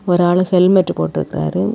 ஒரு ஆளு ஹெல்மெட் போட்ருக்காரு.